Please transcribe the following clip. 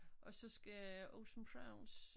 Og så skal Ocean Prawns